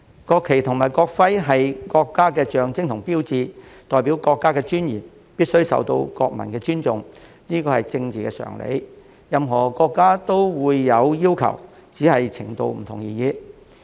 國旗及國徽是國家的象徵和標誌，代表國家的尊嚴，必須受到國民的尊重，這是政治常理，也是任何國家都會有的要求，只是程度不同而已。